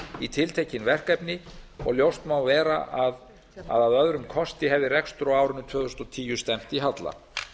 í tiltekin verkefni og ljóst má vera að að öðrum kosti hefði rekstur á árinu tvö þúsund og tíu stefnt í halla